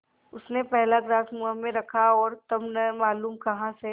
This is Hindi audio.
उसने पहला ग्रास मुँह में रखा और तब न मालूम कहाँ से